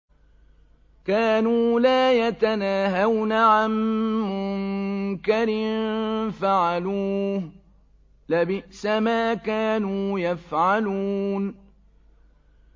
كَانُوا لَا يَتَنَاهَوْنَ عَن مُّنكَرٍ فَعَلُوهُ ۚ لَبِئْسَ مَا كَانُوا يَفْعَلُونَ